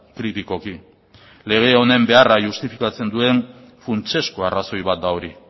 kritikoki lege honen beharra justifikatzen duen funtsezko arrazoi bat da hori